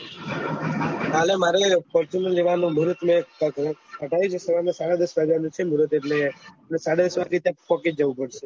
કાલે મારે fortuner લેવાનું સાડા દસ વાગ્યા નું મુરત છે એટલે મારે સાડા દસ વાગયે પોહચી જવું પડશે